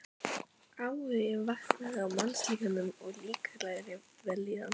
an sem syngur með honum sé fölsk.